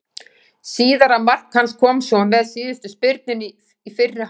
Síðara mark hans kom svo með síðustu spyrnunni í fyrri hálfleik.